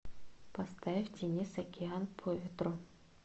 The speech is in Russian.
поставь денис океан по ветру